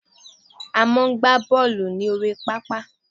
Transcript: A máa ń gbà bọọlu ní orí pápá